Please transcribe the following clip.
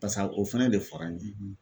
Pasa o fɛnɛ de fɔra n ye